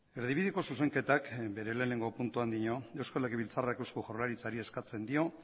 erdibideko zuzenketak bere lehenengo puntuan dio eusko legibiltzarrak eusko jaurlaritzari eskatzen dio